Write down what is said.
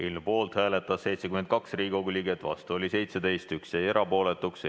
Eelnõu poolt hääletas 72 Riigikogu liiget, vastu oli 17 ja 1 jäi erapooletuks.